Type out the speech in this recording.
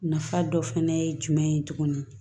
Nafa dɔ fɛnɛ ye jumɛn ye tuguni